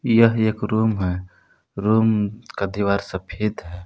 यह एक रूम है रूम का दीवार सफेद है।